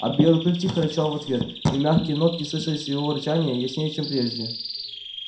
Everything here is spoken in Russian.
а белый клык тихо рычал в ответ и мягкие нотки слышались в его рычании яснее чем прежде